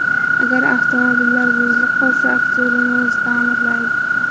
Agar avtomobillar buzilib qolsa, aktyor uni o‘zi ta’mirlaydi.